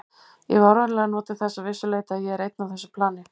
Ég hef áreiðanlega notið þess að vissu leyti að ég er einn á þessu plani.